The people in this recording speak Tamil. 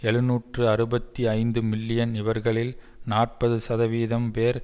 எழுநூற்று அறுபத்தி ஐந்து மில்லியன் இவர்களில் நாற்பது சதவீதம் பேர்